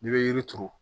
N'i bɛ yiri turu